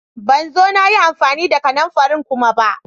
Na zo na yi amfani da kananfarin kuma ba.